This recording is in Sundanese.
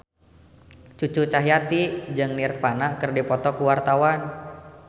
Cucu Cahyati jeung Nirvana keur dipoto ku wartawan